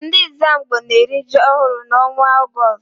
Ndị Ẹ́zàmgbó na-eri ji ọhụrụ n'ọnwa Ọgọọst.